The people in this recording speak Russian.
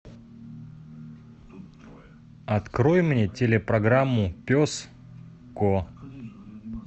открой мне телепрограмму пес ко